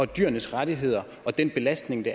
dyrenes rettigheder og den belastning de